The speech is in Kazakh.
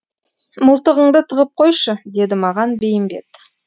мылтығыңды тығып қойшы деді маған бейімбет